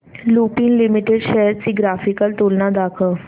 Lupin Limited shares ची graphical तुलना दाखव